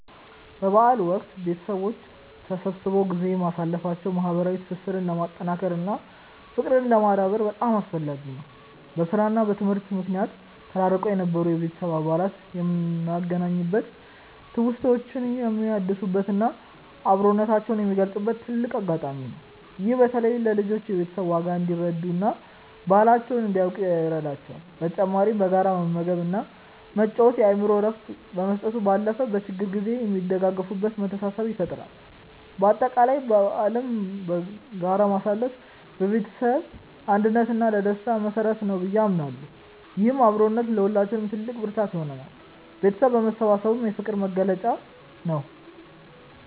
በበዓል ወቅት ቤተሰቦች ተሰብስበው ጊዜ ማሳለፋቸው ማህበራዊ ትስስርን ለማጠናከር እና ፍቅርን ለማዳበር በጣም አስፈላጊ ነው። በስራ እና በትምህርት ምክንያት ተራርቀው የነበሩ የቤተሰብ አባላት የሚገናኙበት፣ ትውስታዎችን የሚያድሱበት እና አብሮነታቸውን የሚገልጹበት ትልቅ አጋጣሚ ነው። ይህም በተለይ ለልጆች የቤተሰብን ዋጋ እንዲረዱ እና ባህላቸውን እንዲያውቁ ይረዳቸዋል። በተጨማሪም በጋራ መመገብ እና መጫወት የአእምሮ እረፍት ከመስጠቱ ባለፈ፣ በችግር ጊዜ የሚደጋገፉበትን መተሳሰብ ይፈጥራል። በአጠቃላይ በዓልን በጋራ ማሳለፍ ለቤተሰብ አንድነት እና ለደስታ መሰረት ነው ብዬ አምናለሁ። ይህም አብሮነት ለሁላችንም ትልቅ ብርታት ይሆናል። ቤተሰብ መሰባሰቡ የፍቅር መግለጫ ነው።